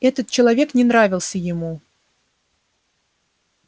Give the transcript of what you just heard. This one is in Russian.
этот человек не нравился ему